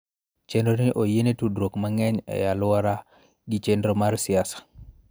Chenro ni oyiene tudruok mang'eny e alwora gi chenro mar siasa.